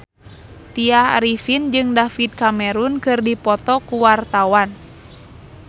Tya Arifin jeung David Cameron keur dipoto ku wartawan